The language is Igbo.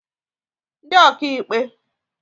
ndị ọkaikpe